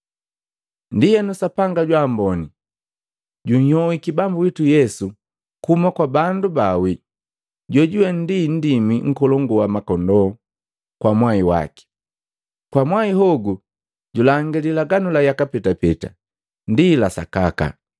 Ndienu, Sapanga jwa mboni, junhyohiki Bambu witu Yesu kuhuma kwa bandu baawi, jojuwe ndi Nndimi nkolongu wa makondoo kwa mwai waki, kwa mwahi hogu, julangi lilaganu la yaka petapeta ndi la sakaka.